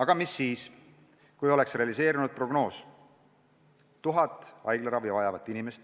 Aga mis siis, kui oleks realiseerunud prognoos, mis ennustas 1000 haiglaravi vajavat inimest,